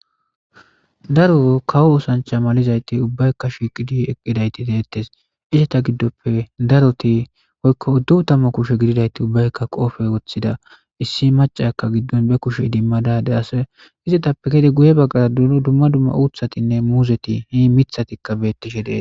daro kawo osancha malizayti ubbaykka shiqidi eqqidayti deettes icheta giddoppe daroti poykko udduu tamma kushe gididayti ubbaykka qoofe woththida issi macakka giddon be kushe idimmadade ase izetappe gede guye baggara d dumma dumma uuthatinne muuzeti hii mithatikka bettishe dees